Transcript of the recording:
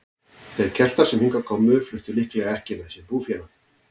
Þeir Keltar sem hingað komu fluttu líklega ekki með sér búfénað.